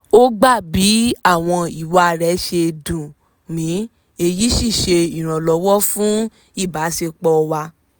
ó gbà bí àwọn ìwà rẹ̀ ṣe dùn mi èyí sí ṣe ìrànlọ́wọ́ fún ìbásepọ̀ wa